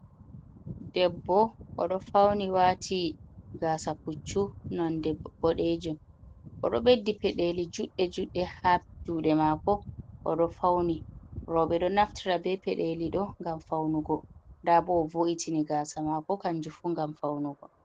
Debbo! Oɗo fauni, waati gaasa puccu, nonde boɗeejum. Oɗo ɓeddi peɗeeli juɗɗe-juɗɗe haa juuɗe maako, oɗo fauni. Rooɓe ɗo naftira bee peɗeeli ɗo ngam faunugo. Nda bo o wo’itini gaasa maako kanjum fu ngam faunugo.